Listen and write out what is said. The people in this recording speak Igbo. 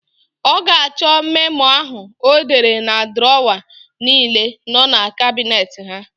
Ọ ga-achọ memo áhụ̀ ọ dere na drọwa niile nọ na kabinet ha.